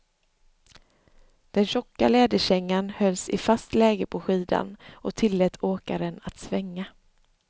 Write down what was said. Den tjocka läderkängan hölls i fast läge på skidan och tillät åkaren att svänga.